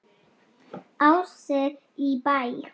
Ljóð: Ási í Bæ